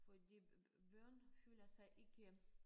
Fordi børn føler sig ikke